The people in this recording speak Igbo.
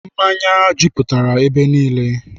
Mmanya jupụtara ebe niile.